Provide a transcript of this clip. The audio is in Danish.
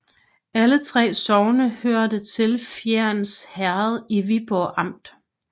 Alle 3 sogne hørte til Fjends Herred i Viborg Amt